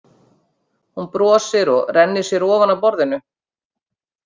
Hún brosir og rennir sér ofan af borðinu.